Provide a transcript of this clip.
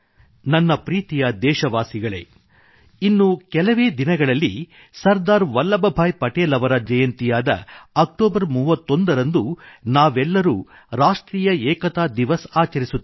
ನನ್ನ ಪ್ರೀತಿಯ ದೇಶವಾಸಿಗಳೇ ಇನ್ನು ಕೆಲವೇ ದಿನಗಳಲ್ಲಿ ಸರ್ದಾರ್ ವಲ್ಲಭ ಭಾಯಿ ಪಟೇಲ್ ಅವರ ಜಯಂತಿಯಾದ ಅಕ್ಟೋಬರ್ 31 ರಂದು ನಾವೆಲ್ಲರೂ ರಾಷ್ಟ್ರೀಯ ಏಕತಾ ದಿವಸ್ ಆಚರಿಸುತ್ತೇವೆ